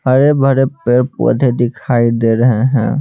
हरे भरे पेड़ पौधे दिखाई दे रहे हैं।